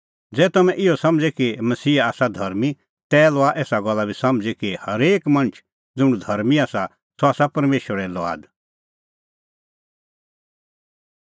ज़ै तम्हैं इहअ समझ़े कि मसीहा आसा धर्मीं तै लआ एसा गल्ला बी समझ़ी कि हरेक मणछ ज़ुंण धर्मीं आसा सह आसा परमेशरे लुआद